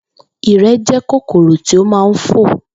Ìrẹ̀ jẹ́ kòkòrò tí ó ma ń fò.